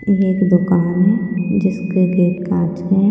ये एक दुकान है जिसके गेट काँच के हैं।